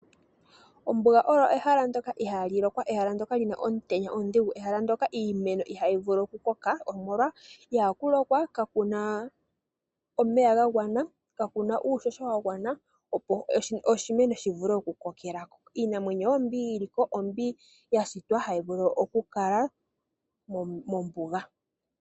Ombuga oyo ehala ndjoka ihaali lokwa, ehala ndyoka lina omutenya omudhigu, ehala ndyoka iimeno ihayi vulu okukoka molwaashoka itaku lokwa, kakuna omeya nuushosho wa gwana, opo oshimeno shivule okukoka. Iinamwenyo, mbyoka yili mo, oyo mbyoka ya shitwa hayi vulu okukala mombuga.